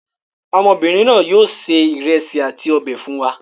Ọmọbìnrin náà yóò se ìrẹsì àti ọbẹ̀ fún wa.